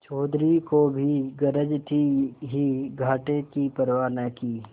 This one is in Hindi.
चौधरी को भी गरज थी ही घाटे की परवा न की